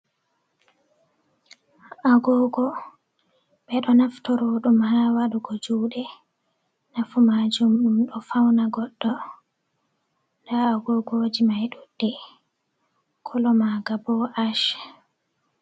Agogo ɓe ɗo naftiro ɗum ha waɗugo juɗe, nafu majum ɗum ɗo fauna goɗɗo, nda agogoji mai ɗuɗɗe, kolo maga bo ash.